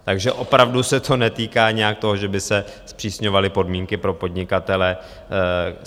Takže opravdu se to netýká nějak toho, že by se zpřísňovaly podmínky pro podnikatele.